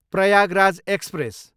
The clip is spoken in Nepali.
प्रयागराज एक्सप्रेस